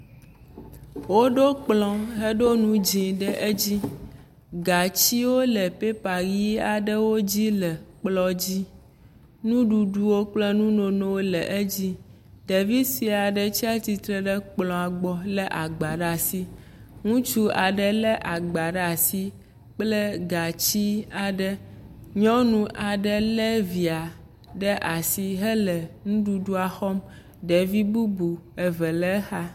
Woɖo kplɔ xeƒo ŋu dzɛ ɖe edzi. Gatsi wole pepa ʋi aɖewo le kplɔ dzi. Nuɖuɖuwo kple nunonowo le edzi. Ɖevi sue aɖe tsi atsitre ɖe kplɔa gbɔ le agba ɖe asi. Ŋutsu aɖe le agba ɖe asi kple gatsi aɖe. nyɔnu aɖe le via ɖe asi hele nuɖuɖu xɔm. Ɖevi bubu eve le exa.